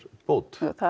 bót það